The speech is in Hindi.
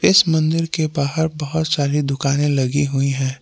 इस मंदिर के बाहर बहोत सारी दुकाने लगी हुई हैं।